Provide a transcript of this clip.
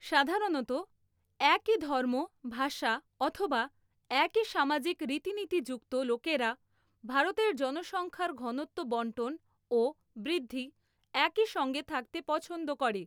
সাধারণত একই ধর্ম ভাষা অথবা একই সামাজিক রীতিনীতি যুক্ত লোকেরা ভারতের জনসংখ্যার ঘনত্ব বণ্টন ও বৃদ্ধি একইসঙ্গে থাকতে পছন্দ করে।